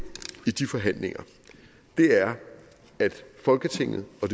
i de forhandlinger er at folketinget og